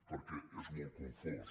perquè és molt confós